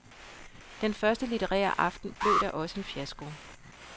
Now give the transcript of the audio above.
Den første litterære aften blev da også en fiasko.